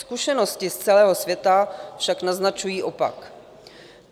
Zkušenosti z celého světa však naznačují opak.